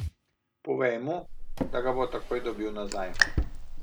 Povej mu, da ga bo takoj dobil nazaj.